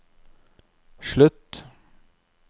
slutt